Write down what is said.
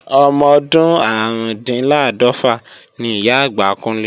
Ọmọdún árùndinláàdọ́fà ni Ìyá-àgbà Kúnlé